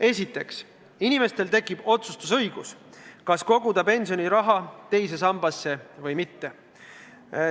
Esiteks, inimestel tekib otsustusõigus, kas koguda pensioniraha teise sambasse või mitte.